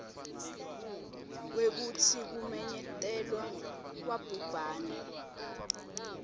kwekutsi kumenyetelwa kwabhubhane